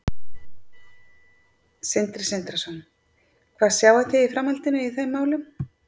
Sindri Sindrason: Hvað sjáið þið í framhaldinu í þeim málum?